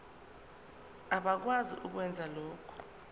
abakwazi ukwenza lokhu